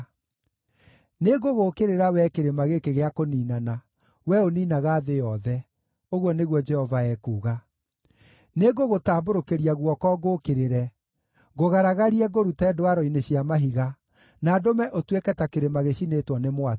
“Nĩngũgũũkĩrĩra wee kĩrĩma gĩkĩ gĩa kũniinana, wee ũniinaga thĩ yothe.” ũguo nĩguo Jehova ekuuga. “Nĩngũgũtambũrũkĩria guoko ngũũkĩrĩre, ngũgaragarie ngũrute ndwaro-inĩ cia mahiga, na ndũme ũtuĩke ta kĩrĩma gĩcinĩtwo nĩ mwaki.